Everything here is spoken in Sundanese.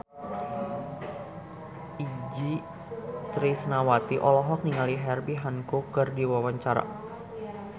Itje Tresnawati olohok ningali Herbie Hancock keur diwawancara